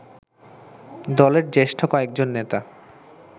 দলের জ্যেষ্ঠ কয়েকজন নেতা